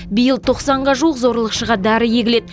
биыл тоқсанға жуық зорлықшыға дәрі егіледі